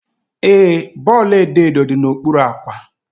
Ee, bọọlụ edo edo dị n'okpuru akwa.